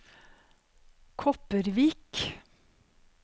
Kopervik